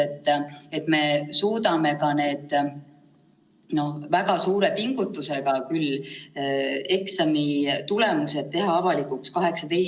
Tegelikult eelmise aasta suvel oleks võinud teha plaane ja tegusid selleks, et meie koole muuta ohutumaks, näiteks tegeleda ventilatsiooniküsimustega, näiteks varustada koolid CO2 anduritega, kui ei jaksa ventilatsiooni välja ehitada, kehtestada võimalikult ohutud koolikorralduslikud meetmed.